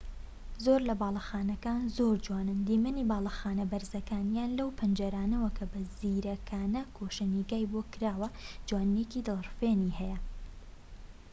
زۆر لە باڵەخانەکان زۆر جوانن و دیمەنی باڵەخانە بەرزەکان یان لەو پەنجەرانەوە کە بە زیرەکانە گۆشەنیگای بۆ کراوە جوانیەکی دڵرفێنی هەیە